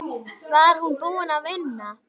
Var hún búin að vinna?